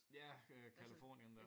Ja øh Californien dér